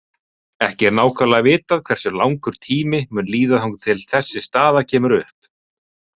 Ekki er nákvæmlega vitað hversu langur tími mun líða þangað til þessi staða kemur upp.